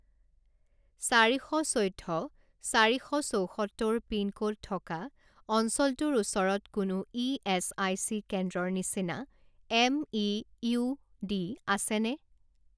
চাৰি শ চৈধ্য চাৰি শ চৌসত্তৰ পিনক'ড থকা অঞ্চলটোৰ ওচৰত কোনো ইএচআইচি কেন্দ্ৰৰ নিচিনা এম.ই.ইউ.ডি. আছেনে?